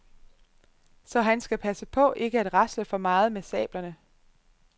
Så han skal passe på ikke at rasle for meget med sablerne.